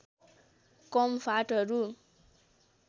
कम फाँटहरू